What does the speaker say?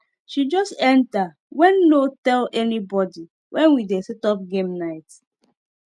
she just enter when no tell anybody when we dey set up game night